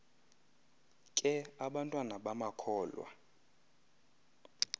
ke abantwana bamakholwa